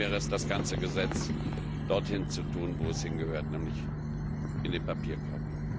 Am besten wäre es, das ganze Gesetz dorthin zu tun, wo es hingehört, nämlich in den Papierkorb.